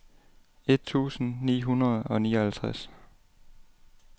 et tusind ni hundrede og nioghalvtreds